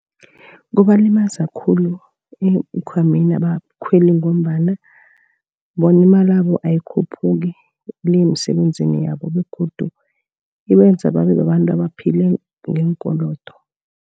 Kubalimaza khulu eenkhwameni nabakhweli ngombana bona imalabo ayikhuphuki le yemisebenzini yabo, ebegodu ibenza babe babantu abaphila ngeenkolodo.